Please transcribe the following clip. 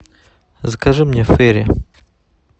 закажи мне фери